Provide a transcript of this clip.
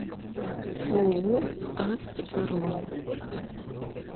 ооо ас бронь